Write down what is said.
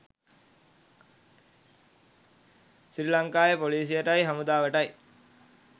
සිරි ලංකාවේ පොලීසියටයි හමුදාවටයි